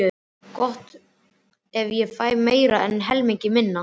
Gott ef ég fæ meira en helmingi minna.